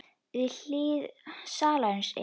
Við hlið salsins er